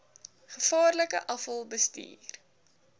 gevaarlike afval bestuur